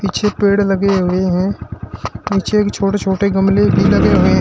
पीछे पेड़ लगे हुए हैं नीचे एक छोटे छोटे गमले भी लगे हुए--